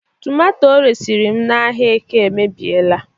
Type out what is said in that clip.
tomato o resịrị m n'ahịa eke emebiela